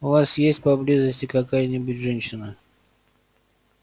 у вас есть поблизости какая-нибудь женщина